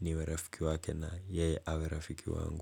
niwerafiki wake na yeye awerafiki wangu.